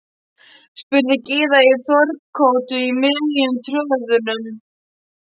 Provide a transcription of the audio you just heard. spurði Gyða í Þórukoti í miðjum tröðunum.